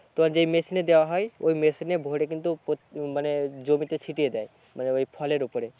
তোমার যে মেশিনে দেওয়া হয় ওই মেশিনে ভোরে কিন্তু প্রতি মানে জমিতে ছিটিয়ে দেয় মানে ওই ফলের ওপরে